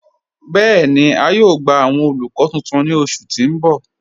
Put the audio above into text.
Bẹẹni, à yóò gbà awọn olùkọ̀ tuntun ni ọṣù tí n bọ̀.